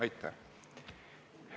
Aitäh!